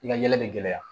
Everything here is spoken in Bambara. I ka ɲɛnɛ bɛ gɛlɛya